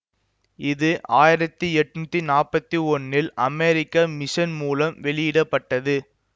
இது ஆயிரத்தி எட்னுத்தி நாற்பத்தி ஒன்றில் அமெரிக்க மிஷன் மூலம் வெளியிட பட்டது